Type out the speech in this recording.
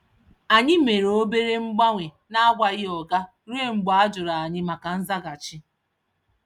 Anyị mere obere mgbanwe n’akwaghị oga ruo mgbe a jụrụ anyị maka nzaghachi.